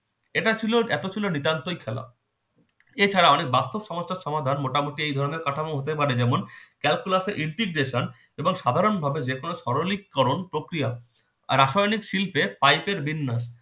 এটা ছিল এত ছিল নিতান্তই খেলা এছাড়া অনেক বাস্তব সমস্যার সমাধান মোটামুটি এই ধরনের কাঠামো হতে পারে যেমন calculus এর integration এবং সাধারণভাবে যে কোনসরলিকরণ প্রক্রিয়া, রাসায়নিক শিল্পে পাইপের বিন্যাস